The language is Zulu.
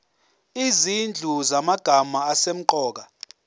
izinhlu zamagama asemqoka